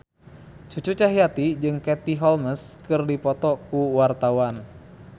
Cucu Cahyati jeung Katie Holmes keur dipoto ku wartawan